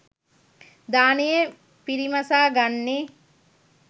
දානය පිරිමසා ගන්නේ